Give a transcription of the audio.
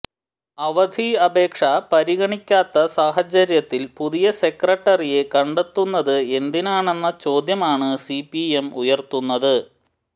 അവധി അപേക്ഷ പരിഗണിക്കാത്ത സാഹചര്യത്തിൽ പുതിയ സെക്രട്ടറിയെ കണ്ടെത്തുന്നത് എന്തിനാണെന്ന ചോദ്യമാണ് സിപിഎം ഉയർത്തുന്നത്